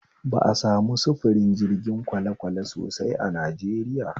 Ba a samu sufurin jirgin kwalekwale sosai a Najeriya